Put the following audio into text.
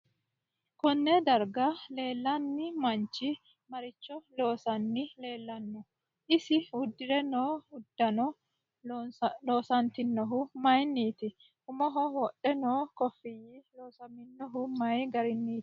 Konne darga leelanni manchi maricho loosani leelanno isi uddire noo uddanno loosantinohu mayiiniti umoho wodhe noo kofiyi loosmamino mayi gariniiti